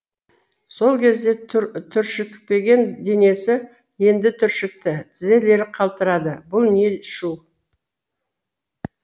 сол кезде түршікпеген денесі енді түршікті тізелері қалтырады бұл не шу